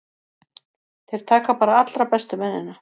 Þeir taka bara allra bestu mennina.